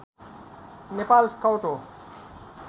Nepal scout हो